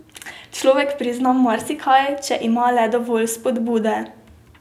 Človek prizna marsikaj, če ima le dovolj vzpodbude.